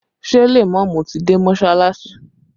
Ṣé lèmọ́mù ti dé mọsalasi?